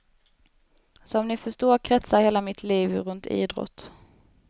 Som ni förstår kretsar hela mitt liv runt idrott.